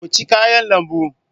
Ku ci kayan lambu.